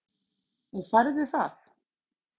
Og færðu það?